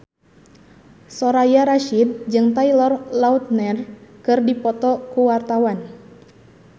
Soraya Rasyid jeung Taylor Lautner keur dipoto ku wartawan